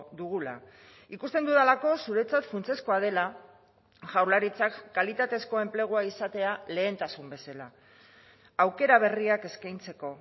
dugula ikusten dudalako zuretzat funtsezkoa dela jaurlaritzak kalitatezko enplegua izatea lehentasun bezala aukera berriak eskaintzeko